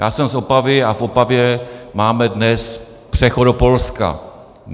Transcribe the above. Já jsem z Opavy a v Opavě máme dnes přechod do Polska.